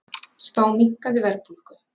Spá minnkandi verðbólgu